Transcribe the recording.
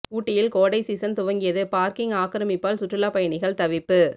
ஊட்டியில் கோடை சீசன் துவங்கியது பார்க்கிங் ஆக்கிரமிப்பால் சுற்றுலா பயணிகள் தவிப்பு